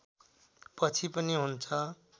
पछि पनि हुन्छ